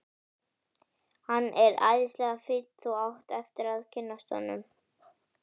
Hann er æðislega fínn. þú átt eftir að kynnast honum.